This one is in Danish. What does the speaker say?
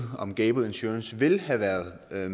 om gable insurance ville have været med i